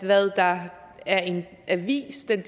hvad der er en avis ikke